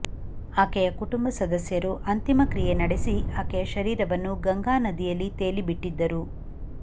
ಆಕೆಯ ಕುಟುಂಬ ಸದಸ್ಯರು ಅಂತಿಮಕ್ರಿಯೆ ನಡೆಸಿ ಆಕೆಯ ಶರೀರವನ್ನು ಗಂಗಾನದಿಯಲ್ಲಿ ತೇಲಿ ಬಿಟ್ಟಿದ್ದರು